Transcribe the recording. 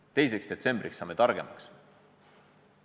Kas 2. detsembriks saame targemaks?